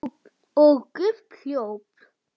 Og Gump hljóp!